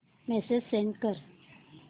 message send कर